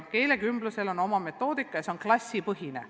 Keelekümblusel on oma metoodika ja see on klassipõhine.